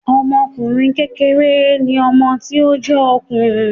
Ọmọkùnrin kékeré ni ọmọ tí ó jé òkùnrùn